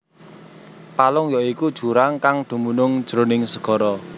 Palung ya iku jurang kang dumunung jroning segara